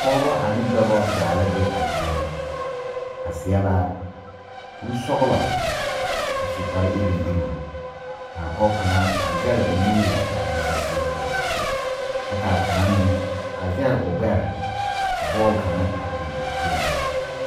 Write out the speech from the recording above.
Pɔgeba ane dɔba zaa la be a zie ŋa ba seɛ la kurisɔglɔ a su kpare iruŋ iruŋ ka a pɔge kaŋa a zɛge o nuuri a eŋ saseɛ poɔ k,a kaŋa meŋ a zɛge o gbɛre ka bɔle kaŋ a biŋ a peɛle o.